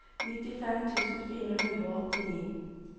nittifem tusen fire hundre og åttini